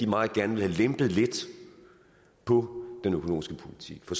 meget gerne vil have lempet lidt på den økonomiske politik for